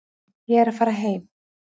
Ég er að fara heim.